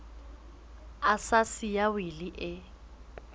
a sa siya wili e